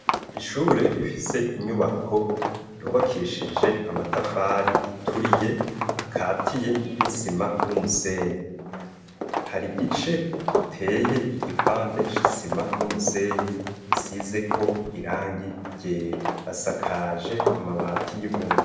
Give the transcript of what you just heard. ishure rifise inyubako yubakishije amatafari aturiye akatiye n'isima n'umusenyi hari gice giteye igipande c'isima n'umusenyi gisizeko irangi ryera asakaje amabati y'ibumba